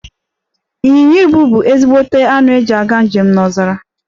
Inyịnya ibù bu ezigbote anụ eji aga njem n'ọzara.